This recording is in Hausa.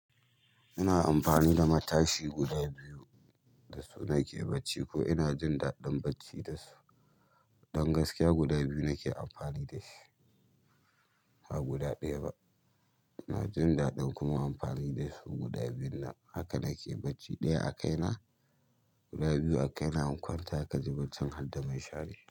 Ina amfani da matashi guda biyu da su nake bacci ko ina jin daɗin bacci da su. Don gaskiya guda biyu nake amfani da shi, ba guda ɗaya ba, inajin daɗin kuma amfani da guda biyunnan, haka nake bacci ɗaya akai na guda biyu a kaina in kwanta kaji barcin harda minshari.